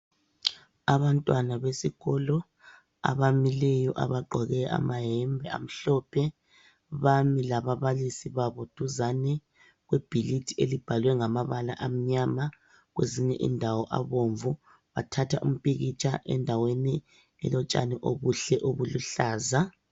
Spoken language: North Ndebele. Abantwana besikolo abamileyo abagqoke amayembe amhlophe bami lababalisi babo duzane kwebhilidi elibhalwe ngamabala amnyama kuzinye indawo abomvu bathatha umpikitsha endaweni elotshani obuhle obuluhlaza.